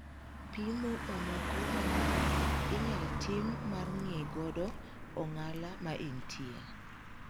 Pimo ma moko mang'eny inyal tim mar ng'ee godo ong'ala ma entie.